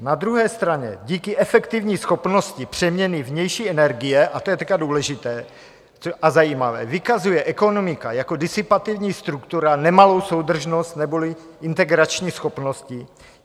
Na druhé straně díky efektivní schopnosti přeměny vnější energie, a to je teď důležité a zajímavé, vykazuje ekonomika jako disipativní struktura nemalou soudržnost neboli integrační schopnosti.